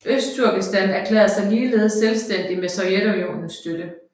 Østturkestan erklærede sig ligeledes selvstændigt med Sovjetunionens støtte